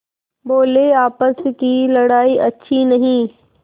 बोलेआपस की लड़ाई अच्छी नहीं